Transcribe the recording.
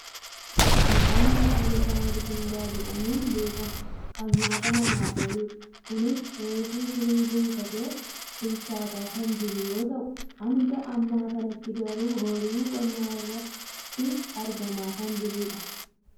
midhaan maqaan isaa mishingaa jedhamuun beekkamu , kan nyaata namaaf ooludha. kunis refu firii buufatee bilchaataa kan jiru yoo ta'u hanga ammaa kanatti garuu ooyiruu qonnaa irratti argamaa kan jirudha.